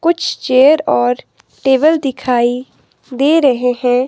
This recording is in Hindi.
कुछ चेयर और टेबल दिखाई दे रहे हैं।